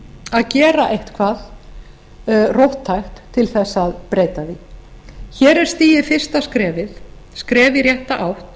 að gera eitthvað róttækt til þess að breyta því hér er stigið fyrsta skrefið skref í rétta átt